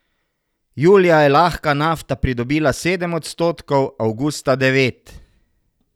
Julija je lahka nafta pridobila sedem odstotkov, avgusta devet.